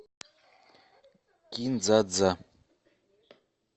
кин дза дза